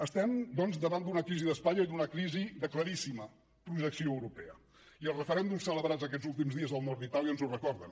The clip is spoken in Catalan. estem doncs davant d’una crisi d’espanya i d’una crisi de claríssima projecció europea i els referèndums celebrats aquests últims dies al nord d’itàlia ens ho recorden